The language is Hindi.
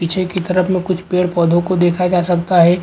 पीछे के तरफ में कुछ पेड़-पौधे को देखा जा सकता है।